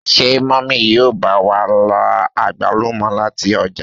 Ṣe mummy yíò ba wa ra agbalumo lati ọja?